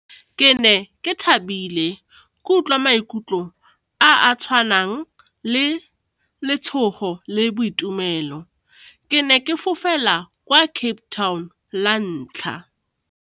Ke ne ke thabile ke utlwa maikutlo a a tshwanang le letshogo le boitumelo, ke ne ke fofela kwa Cape Town la ntlha.